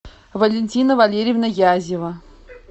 валентина валерьевна язева